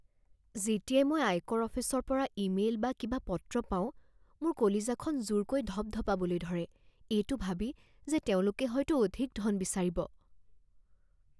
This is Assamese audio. যেতিয়াই মই আয়কৰ অফিচৰ পৰা ইমেইল বা কিবা পত্ৰ পাওঁ, মোৰ কলিজাখন জোৰকৈ ধপধপাবলৈ ধৰে এইটো ভাবি যে তেওঁলোকে হয়তো অধিক ধন বিচাৰিব